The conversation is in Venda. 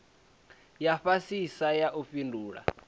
ya fhasisa ya u fhindula